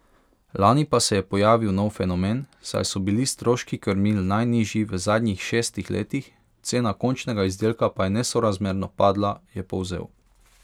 Lani pa se je pojavil nov fenomen, saj so bili stroški krmil najnižji v zadnjih šestih letih, cena končnega izdelka pa je nesorazmerno padla, je povzel.